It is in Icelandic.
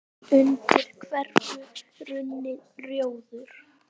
undir hverfur runni, rjóður